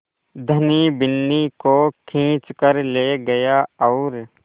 धनी बिन्नी को खींच कर ले गया और